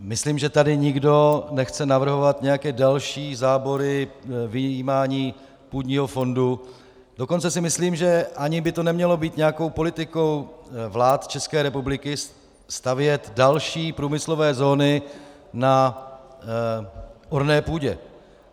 Myslím, že tady nikdo nechce navrhovat nějaké další zábory, vyjímání půdního fondu, dokonce si myslím, že ani by to nemělo být nějakou politikou vlád České republiky stavět další průmyslové zóny na orné půdě.